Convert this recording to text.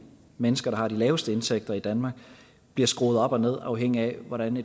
mennesker der har de laveste indtægter i danmark bliver skruet op og ned afhængigt af hvordan